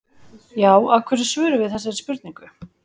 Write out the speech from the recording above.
Já, af hverju svörum við þessari spurningu?